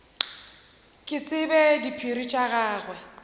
ke tsebe diphiri tša gagwe